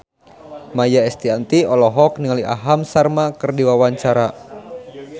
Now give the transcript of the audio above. Maia Estianty olohok ningali Aham Sharma keur diwawancara